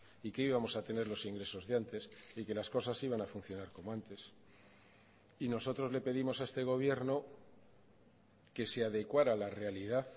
y que íbamos a tener los ingresos de antes y que las cosas iban a funcionar como antes y nosotros le pedimos a este gobierno que se adecuara a la realidad